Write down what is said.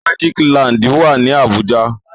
Magic land wá ní Abuja